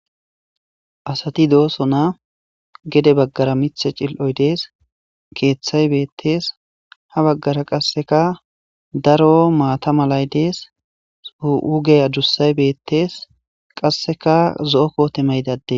Asati dossonna gedde baggara miiththa cili'oy dees keththay beetes ha baggara qasekka daro maata malay dees huuge addussau beetes qasekka zo'o koote mayida addey